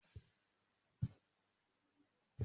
Mo ló balùwẹ́ wọn lana